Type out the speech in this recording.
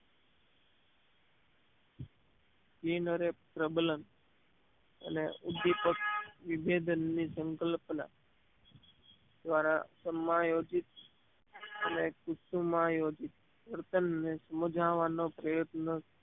બિનહરે પ્રબલન અને ઉદ્દીપક ની વિભેદનની સંકલ્પના દ્વારા સમાયોજિત અને કુસુમાયોજીત વર્તનને મૂંઝાવવાનો પ્રયત્ન